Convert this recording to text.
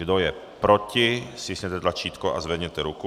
Kdo je proti, stiskněte tlačítko a zvedněte ruku.